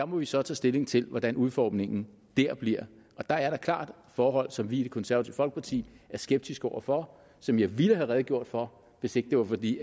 må vi så tage stilling til hvordan udformningen der bliver der er da klart forhold som vi i det konservative folkeparti er skeptiske over for som jeg ville have redegjort for hvis ikke det var fordi